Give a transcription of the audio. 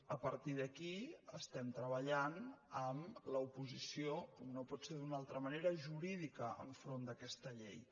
a partir d’aquí estem treballant amb l’oposició com no pot ser d’una altra manera jurídica enfront d’aquesta llei